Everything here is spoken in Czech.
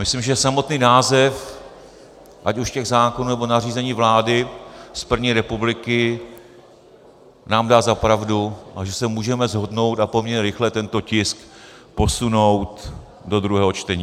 Myslím, že samotný název ať už těch zákonů, nebo nařízení vlády z první republiky nám dá za pravdu a že se můžeme shodnout a poměrně rychle tento tisk posunout do druhého čtení.